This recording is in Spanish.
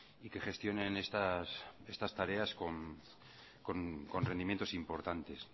y que gestionen estas tareas con rendimientos importantes